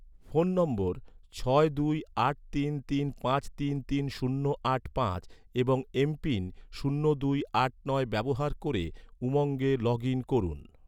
phone নম্বর ছয় দুই আট তিন তিন পাঁচ তিন তিন শূন্য আট পাঁচ এবং এমপিন শূন্য দুই আট নয় ব্যবহার ক’রে, উমঙ্গে লগ ইন করুন